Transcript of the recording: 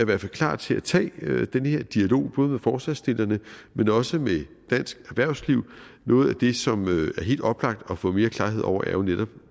hvert fald klar til at tage den her dialog både med forslagsstillerne men også med dansk erhvervsliv noget af det som er helt oplagt at få mere klarhed over er jo netop